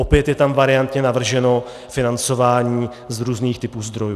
Opět je tam variantně navrženo financování z různých typů zdrojů.